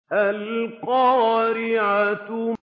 الْقَارِعَةُ